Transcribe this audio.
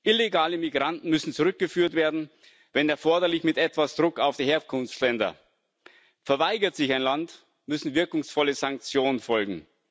Illegale Migranten müssen zurückgeführt werden, wenn erforderlich mit etwas Druck auf die Herkunftsländer. Verweigert sich ein Land, müssen wirkungsvolle Sanktionen folgen.